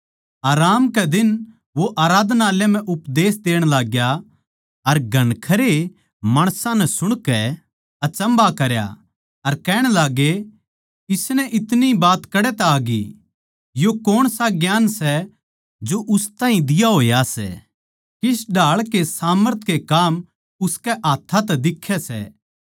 आराम कै दिन वो आराधनालय म्ह उपदेश देण लागग्या अर घणखरे माणसां नै सुणकै अचम्भा करया अर कहण लाग्गे इसनै इतनी बात कड़ै तै आगी यो कौणसा ज्ञान सै जो उस ताहीं दिया होया सै किस ढाळ के सामर्थ के काम उसकै हाथ्थां तै दिक्खै सै